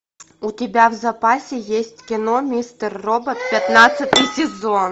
у тебя в запасе есть кино мистер робот пятнадцатый сезон